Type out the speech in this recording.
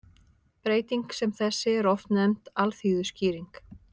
Breyting sem þessi er oft nefnd alþýðuskýring.